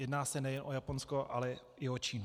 Jedná se nejen o Japonsko, ale i o Čínu.